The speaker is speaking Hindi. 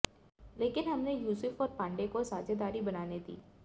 लेकिन हमने यूसुफ और पांडे को साझेदारी बनाने दी